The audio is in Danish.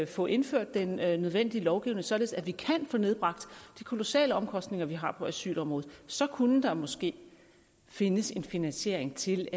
få indført den nødvendige lovgivning sådan at vi kan få nedbragt de kolossale omkostninger vi har på asylområdet så kunne der måske findes en finansiering til